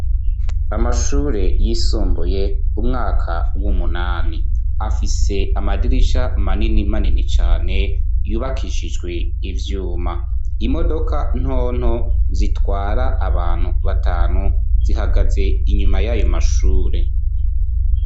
Amashure yisumbuye umwaka w'umunani afise amadirisha manini manini cane yubakishijwe ivyuma imodoka ntonto zitwara abantu batanu zihagaze inyuma yayo mashure